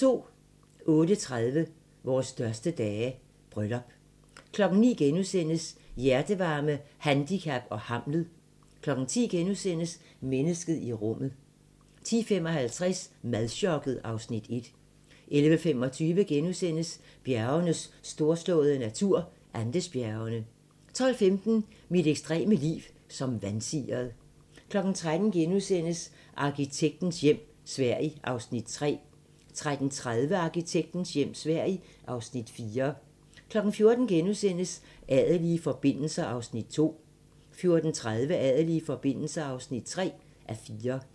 08:30: Vores største dage - bryllup 09:00: Hjertevarme, handicap og Hamlet * 10:00: Mennesket i rummet * 10:55: Madchokket (Afs. 1) 11:25: Bjergenes storslåede natur - Andesbjergene * 12:15: Mit ekstreme liv som vansiret 13:00: Arkitektens hjem - Sverige (Afs. 3)* 13:30: Arkitektens hjem - Sverige (Afs. 4) 14:00: Adelige forbindelser (2:4)* 14:30: Adelige forbindelser (3:4)